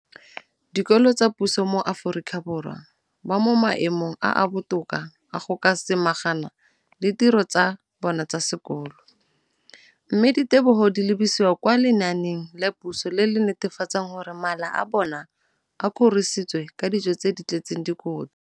dikolo tsa puso mo Aforika Borwa ba mo maemong a a botoka a go ka samagana le ditiro tsa bona tsa sekolo, mme ditebogo di lebisiwa kwa lenaaneng la puso le le netefatsang gore mala a bona a kgorisitswe ka dijo tse di tletseng dikotla.